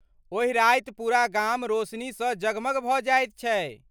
ओहि राति पूरा गाम रोशनीसँ जगमग भऽ जाइत छै।